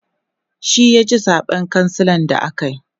shi ya ci zaɓen kansila da akayi